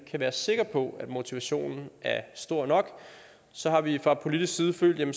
kan være sikre på at motivationen er stor nok så har vi fra politisk side følt at